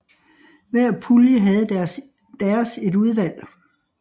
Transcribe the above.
Hver pulje havde deres et udvalg